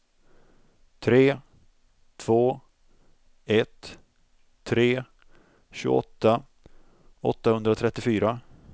tre två ett tre tjugoåtta åttahundratrettiofyra